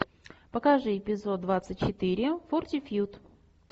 покажи эпизод двадцать четыре фортитьюд